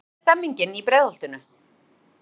En hvernig er stemmningin í Breiðholtinu?